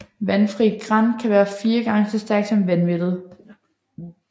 Vandfri gran kan være fire gange så stærkt som vandmættet